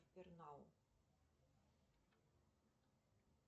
сбер нау